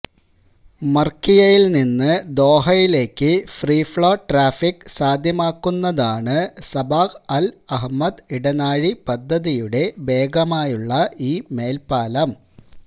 മര്ക്കിയയില് നിന്ന് ദോഹയിലേക്ക് free flow traffic സാധ്യമാക്കുന്നതാണ് സബാഹ് അല് അഹ്മദ് ഇടനാഴി പദ്ധതിയുടെ ഭാഗമായുള്ള ഈ മേല്പ്പാലം